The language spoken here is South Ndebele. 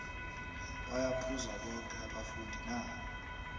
baya phuza boke abafundi na